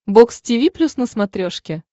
бокс тиви плюс на смотрешке